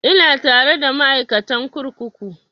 Ina tare da ma'aikatan kurkuku